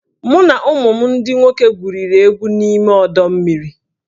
Mụ na ụmụ m ndị nwoke gwuriri egwu n'ime ọdọ mmiri